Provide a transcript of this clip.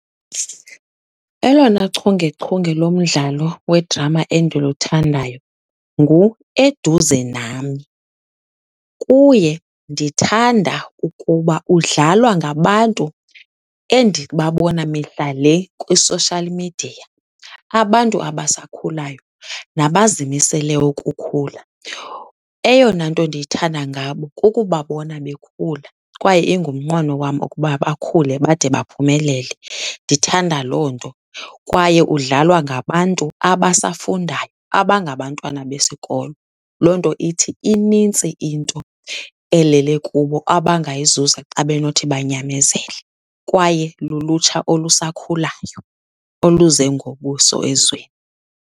Elona chungechunge lomdlalo wedrama endiluthandayo nguEduze Nami. Kuye ndithanda ukuba udlalwa ngabantu endibabona mihla le kwi-social media, abantu abasakhulayo nabazimisele ukukhula. Eyona nto ndiyithanda ngabo kukubabona bekhula kwaye ingumnqweno wam ukuba bakhule bade baphumelele, ndithanda loo nto. Kwaye udlalwa ngabantu abasafundayo, abangabantwana besikolo. Loo nto ithi inintsi into elele kubo, abangayizuza xa benothi banyamezele kwaye lulutsha olusakhulayo oluze ngobuso ezweni.